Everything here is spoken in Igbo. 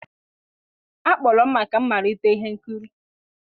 a kpọrọ m maka mmalite ihe nkiri.